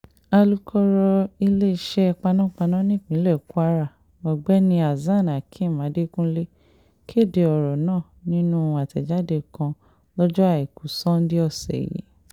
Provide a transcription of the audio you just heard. alūkọ̀rọ̀ iléeṣẹ́ panpaná nípínlẹ̀ kwara ọ̀gbẹ́ni hasan hakeem adekunle kéde ọ̀rọ̀ náà nínú àtẹ̀jáde kan lọ́jọ́ àìkú sanńdé ọ̀sẹ̀ yìí